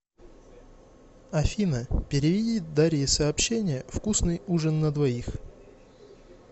афина переведи дарье сообщение вкусный ужин на двоих